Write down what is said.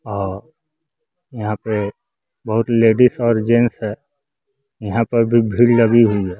औ यहां पे बहुत लेडिस और जेंस है यहां पर भी भीड़ लगी हुई है।